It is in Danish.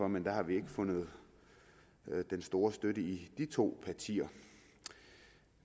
men der har vi ikke fundet den store støtte i de to partier